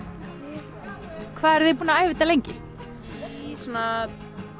hvað eruð þið búin að æfa þetta lengi í svona